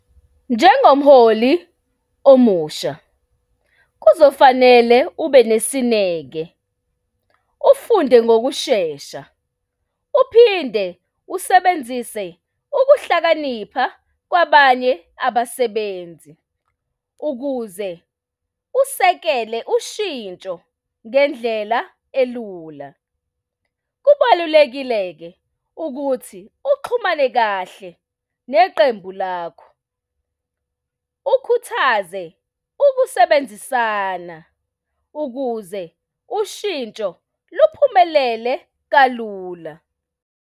Njengomholi omusha, kuzofanele ube nesineke, ufunde ngokushesha, uphinde usebenzise ukuhlakanipha kwabanye abasebenzi ukuze usekele ushintsho ngendlela elula. Kubalulekile-ke ukuthi uxhumane kahle neqembu lakho. Ukhuthaze ukusebenzisana ukuze ushintsho luphumelele kalula.